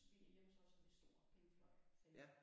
Vi hjemme hos er vi stor Pink Floyd-fan